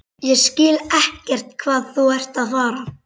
Ég skil ekkert hvað þú ert að fara.